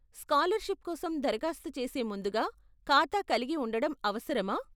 Scholarship కోసం దరఖాస్తు చేసే ముందుగా ఖాతా కలిగి ఉండడం అవసరమా ?